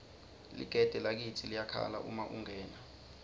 ligede lakitsi liyakhala uma ungena